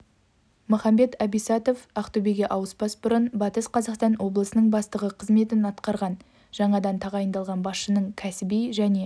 махамбет абисатов ақтөбеге ауыспас бұрын батыс қазақстан облысының бастығы қызметін атқарған жаңадан тағайындалған басшының кәсіби және